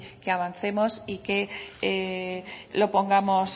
que avancemos y que lo pongamos